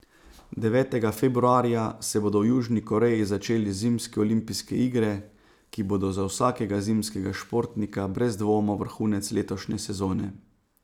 Devetega februarja se bodo v Južni Koreji začele zimske olimpijske igre, ki bodo za vsakega zimskega športnika brez dvoma vrhunec letošnje sezone.